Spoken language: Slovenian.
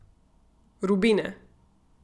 Rubine.